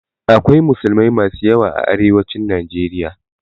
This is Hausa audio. Akwai musulmai masu yawa a arewacin Najeriya.